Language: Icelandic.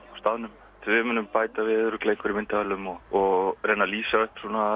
staðnum við munum bæta við örugglega einhverjum myndavélum og og reyna að lýsa upp